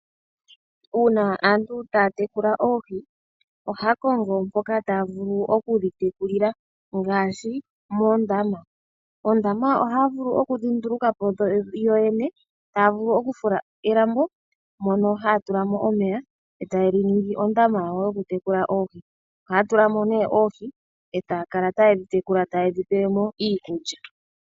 Uuna aantu taya tekula oohi, ohaya kongo mpoka taya vulu okudhi tekulila ngaashi moondama. Oondama ohaya vulu kudhi nduluka po yo yene, taa vulu oku fula elambo mono haya tula mo omeya eta yeli ningi ondama yawo yoku tekula oohi, ohaya tula mo nee oohi eta ya kala taye dhi tekula ta yedhi pelemo iikulya.